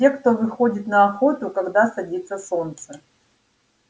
те кто выходит на охоту когда садится солнце